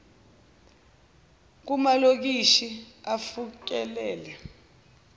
kum alokishi afikelele